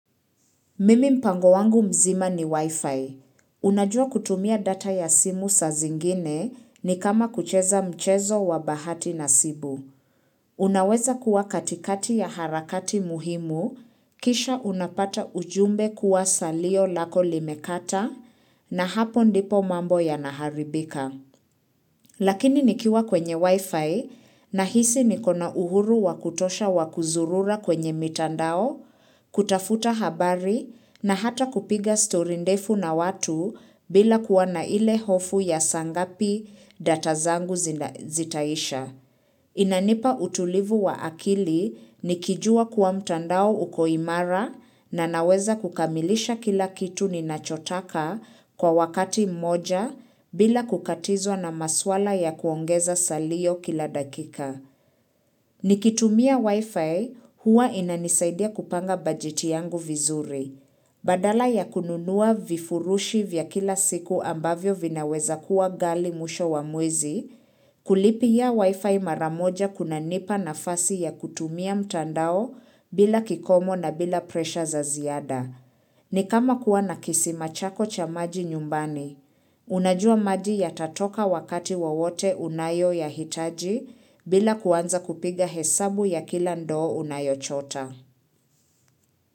Mimi mpango wangu mzima ni wifi. Unajua kutumia data ya simu saa zingine ni kama kucheza mchezo wa bahati nasibu. Unaweza kuwa katikati ya harakati muhimu, kisha unapata ujumbe kuwa salio lako limekata na hapo ndipo mambo ya naharibika. Lakini nikiwa kwenye wifi nahisi niko na uhuru wakutosha wakuzurura kwenye mitandao, kutafuta habari na hata kupiga stori ndefu na watu bila kuwa na ile hofu ya saa ngapi datazangu zitaisha. Inanipa utulivu wa akili nikijua kuwa mtandao uko imara na naweza kukamilisha kila kitu ninachotaka kwa wakati mmoja bila kukatizwa na maswala ya kuongeza salio kila dakika. Ni kitumia wifi hua inanisaidia kupanga bajeti yangu vizuri. Badala ya kununua vifurushi vya kila siku ambavyo vinaweza kuwa ghali mwisho wa mwezi kulipia wifi maramoja kunanipa nafasi ya kutumia mtandao bila kikomo na bila presha za ziada. Ni kama kuwa nakisima chako cha maji nyumbani. Unajua maji yatatoka wakati wowote unayoyahitaji bila kuanza kupiga hesabu ya kila ndo unayo chota.